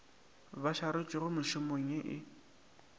ba šaretšwego mešomong ye e